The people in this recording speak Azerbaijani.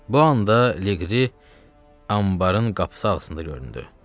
Bu anda Liqri, anbarın qapısı arasında göründü.